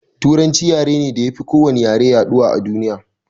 Turanci yare ne da yafi ko wani yare yaɗuwa a duniya